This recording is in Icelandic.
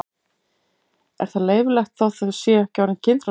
Er það leyfilegt þótt þau séu ekki orðin kynþroska?